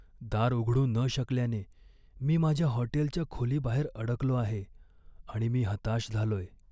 दार उघडू न शकल्याने मी माझ्या हॉटेलच्या खोलीबाहेर अडकलो आहे आणि मी हताश झालोय.